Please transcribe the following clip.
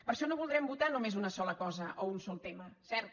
per això no voldrem votar només una sola cosa o un sol tema cert